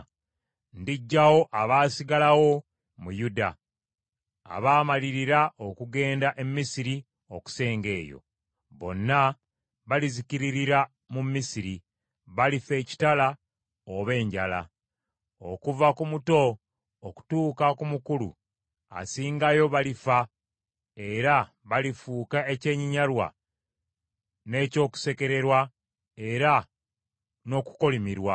Ndiggyawo abaasigalira mu Yuda abaamalirira okugenda e Misiri okusenga eyo. Bonna balizikiririra mu Misiri, balifa ekitala oba enjala. Okuva ku muto okutuuka ku mukulu asingayo balifa era balifuuka ekyenyinyalwa n’eky’okusekererwa era n’okukolimirwa.